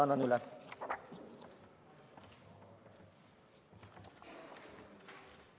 Annan selle teile üle.